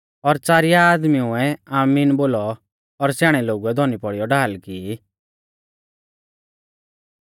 और च़ारिया आदमीउऐ आमीन बोलौ और स्याणै लोगुऐ धौनी पौड़ीयौ ढाल की